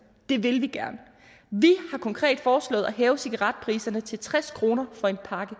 det vil vi gerne vi har konkret foreslået at hæve cigaretpriserne til tres kroner for en pakke